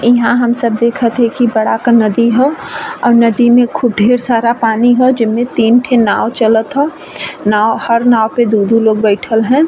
इहां हम सब देखत हैं की बरा क नदी ह और नदि में खूब ढ़ेर सारा पानी हो जिनमे तीन ठे नाव चलत हउ नाव हर नाव पे दू दू लोग बैठल है।